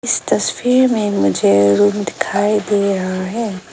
इस तस्वीर में मुझे रूम दिखाई दे रहा है।